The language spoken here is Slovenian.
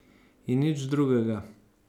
In nič drugega.